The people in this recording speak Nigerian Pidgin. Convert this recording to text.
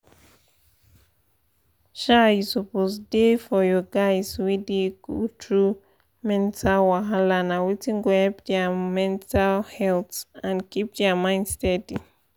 um you suppose da for your guys wey dey go through mental wahala na wetin go help their mental health and keep their mind steady.